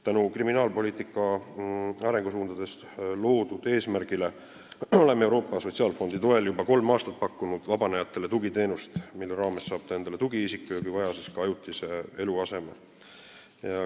Tänu kriminaalpoliitika arengusuundades seatud eesmärgile oleme Euroopa Sotsiaalfondi toel juba kolm aastat pakkunud vabanenutele tugiteenust, mille raames nad saavad endale tugiisiku ja kui vaja, siis ka ajutise eluaseme.